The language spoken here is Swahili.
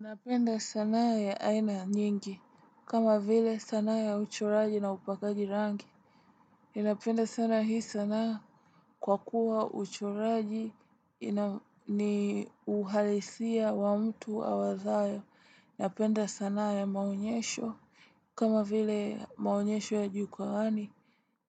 Ninapenda sanaa ya aina nyingi, kama vile sanaa ya uchoraji na upakaji rangi. Ninapenda sanaa hii sanaa kwa kuwa uchoraji ni uhalisia wa mtu awazayo. Ninapenda sanaa ya maonyesho, kama vile maonyesho ya jukawani.